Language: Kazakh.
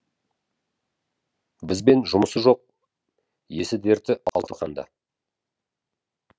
бізбен жұмысы жоқ есі дерті алтыбақанда